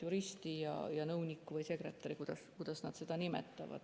Juristi ja nõunikku või sekretäri või kuidas nad neid nimetavad.